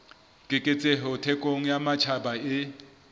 keketseho thekong ya matjhaba e